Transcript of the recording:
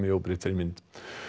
í óbreyttri mynd